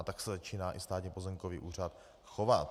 A tak se začíná i Státní pozemkový úřad chovat.